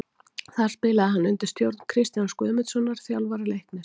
Þar spilaði hann undir stjórn Kristjáns Guðmundssonar, þjálfara Leiknis.